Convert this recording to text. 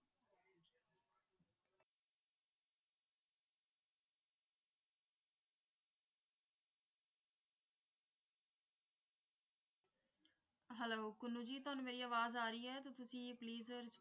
Hello Kunnu ji ਤੁਹਾਨੂੰ ਮੇਰੀ ਆਵਾਜ਼ ਆਰੀ ਹੈ? ਤੇ ਤੁਸੀ ਇਹ please